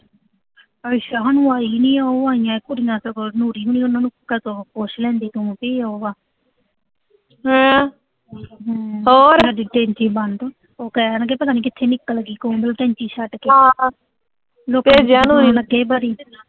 ਕਦੋਂ ਪੁੱਛ ਲੈਂਦੀ ਤੂੰ ਕੀ ਉਹੋ ਆ ਹਮ ਤੇਰਾ ਜਿੱਦੇ ਜੀਅ ਬਣਦਾ, ਉਹ ਕਹਿ ਦਿੰਦੇ ਪਤਾ ਨੀਂ ਕਿੱਥੇ ਨਿਕਲ ਗੀ, ਕਹਿੰਦੇ ਟੈਂਕੀ ਛੱਡ ਕੇ